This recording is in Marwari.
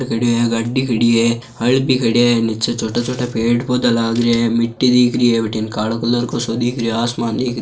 गाड़ी खड़ी है हल भी खडयाो है नीचे छोटा छोटा पेड़ पौधा लाग रिया है मिट्टी दिख री है वठिने कालो कलर सो दिख रियो है आसमान दिख --